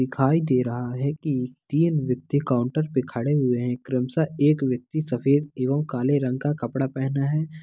दिखाई दे रहा है कि तीन व्यक्ति काउंटर पर खड़े हुए हैं क्रमशः एक व्यक्ति सफ़ेद एवं काले रंग का कपड़ा पेहना है।